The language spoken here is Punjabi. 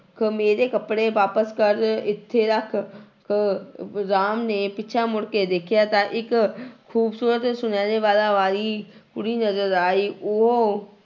ਖ ਮੇਰੇ ਕੱਪੜੇ ਵਾਪਸ ਕਰ ਇੱਥੇ ਰੱਖ ਖ ਰਾਮ ਨੇ ਪਿੱਛਾ ਮੁੜਕੇ ਦੇਖਿਆ ਤਾਂ ਇੱਕ ਖੂਬਸੂਰਤ ਸੁਨਿਹਰੇ ਵਾਲਾਂ ਵਾਲੀ ਕੁੜੀ ਨਜ਼ਰ ਆਈ, ਉਹ